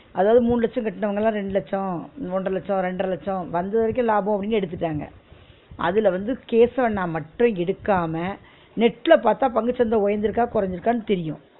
அதாவது மூணு லட்சோ கட்னவங்க எல்லா ரெண்டு லட்சோ ஒன்ற லட்சோ ரெண்டர லட்சோ வந்த வரைக்கு லாபம் அப்பிடின்னு எடுத்துட்டாங்க அதுல வந்து கேசவன்னா மட்டும் எடுக்காம net ல பாத்தா பங்கு சந்த உயர்ந்து இருக்கா? குறஞ்சிருக்கானு தெரியும்